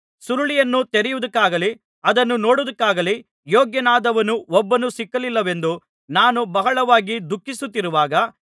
ಸುರುಳಿಯನ್ನು ತೆರೆಯುವುದಕ್ಕಾಗಲಿ ಅದನ್ನು ನೋಡುವುದಕ್ಕಾಗಲಿ ಯೋಗ್ಯನಾದವನು ಒಬ್ಬನೂ ಸಿಕ್ಕಲಿಲ್ಲವೆಂದು ನಾನು ಬಹಳವಾಗಿ ದುಃಖಿಸುತ್ತಿರುವಾಗ